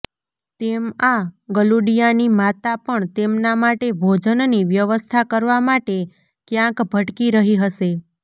તેમ આ ગલુડીયાની માતા પણ તેમના માટે ભોજનની વ્યવસ્થા કરવા માટે ક્યાંક ભટકી રહી હશે